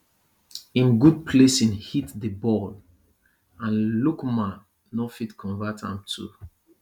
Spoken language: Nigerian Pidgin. im good placing hit di ball and lookman no fit convert am too